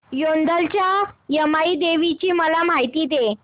औंधच्या यमाई देवीची मला माहिती दे